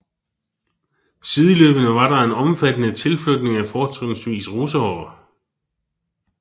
Sideløbende var der en omfattende tilflytning af fortrinsvis russere